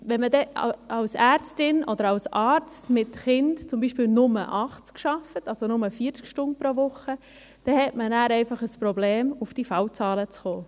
Wenn man dann als Ärztin oder als Arzt mit Kindern zum Beispiel nur 80 Prozent arbeitet, also nur 40 Stunden pro Woche, hat man einfach ein Problem auf diese Fallzahlen zu kommen.